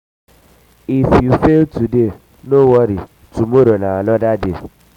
if you fail today no worry tomorrow na another day.